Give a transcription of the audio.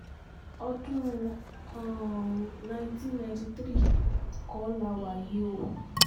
ọdún um nineteen ninety three kọ́ la wà yìí o